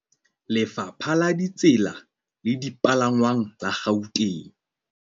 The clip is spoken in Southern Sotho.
Lefapha la Ditsela le Dipalangwang la Gauteng